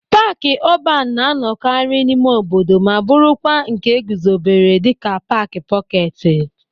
Paaki ọban na-anọkarị n'ime obodo ma bụrụkwa nke e guzobere dịka paaki pọketi.